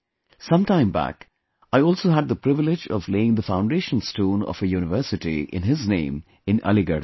Sometime back I also had the privilege of laying the foundation stone of a university in his name in Aligarh